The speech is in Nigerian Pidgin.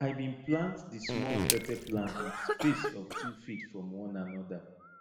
i bin plant di small pepper plant with space of two feet from one anoda